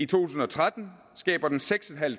tusind og tretten skaber den seks